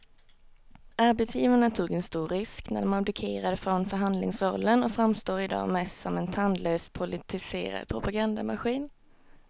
Arbetsgivarna tog en stor risk när de abdikerade från förhandlingsrollen och framstår i dag mest som en tandlös politiserad propagandamaskin.